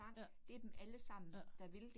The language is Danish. Ja. Ja